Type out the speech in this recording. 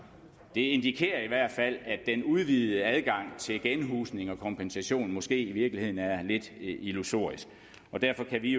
indikerer i hvert fald at den udvidede adgang til genhusning og kompensation måske i virkeligheden er lidt illusorisk derfor kan vi